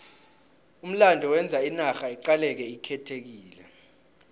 umlando wenza inarha iqaleke ikhethekile